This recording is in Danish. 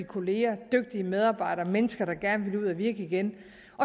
kollegaer dygtige medarbejdere og mennesker der gerne vil ud at virke igen